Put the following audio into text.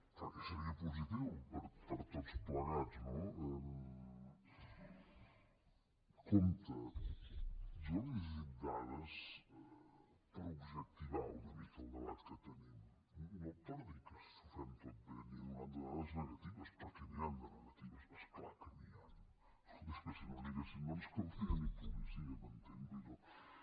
perquè seria positiu per a tots plegats no compte jo li he llegit dades per objectivar una mica el debat que tenim no per dir que ho fem tot bé n’hi he donat de dades negatives perquè n’hi han de negatives és clar que n’hi ha escolti és que si no n’hi haguessin no ens caldria ni policia m’entén vull dir allò